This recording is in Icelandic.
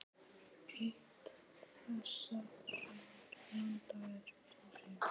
Eitt þessara landa er Túnis.